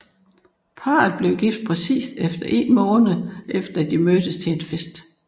Parret blev gift præcis én måned efter at de mødtes til en fest